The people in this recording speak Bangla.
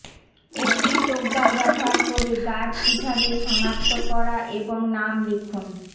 একটি টোগ্গার ব্যবহার করে গাছ কিভাবে সনাক্ত করা এবং নাম লিখুন